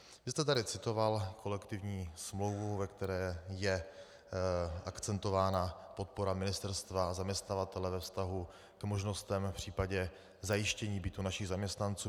Vy jste tady citoval kolektivní smlouvu, ve které je akcentována podpora ministerstva a zaměstnavatele ve vztahu k možnostem v případě zajištění bytu našim zaměstnancům.